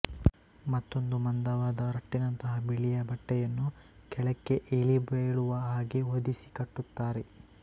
ಮತ್ತೊಂದು ಮಂದವಾದ ರಟ್ಟಿನಂತಹ ಬಿಳಿಯ ಬಟ್ಟೆಯನ್ನು ಕೆಳಕ್ಕೆ ಇಳಿಬೀಳುವ ಹಾಗೆ ಹೊದಿಸಿ ಕಟ್ಟುತ್ತಾರೆ